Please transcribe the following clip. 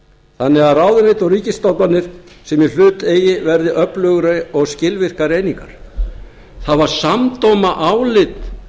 þannig að ráðuneyti og ríkisstofnanir sem í hlut eigi verði öflugri og skilvirkar einingar það var samdóma álit